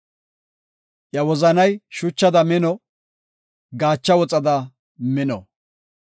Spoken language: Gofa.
Iya wozanay shuchada mino; gaacha woxa mela mino.